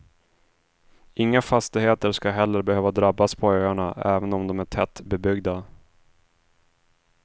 Inga fastigheter skall heller behöva drabbas på öarna även om de är tättbebyggda.